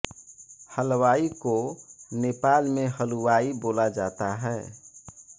हलवाई को नेपाल में हलुवाई बोला जाता है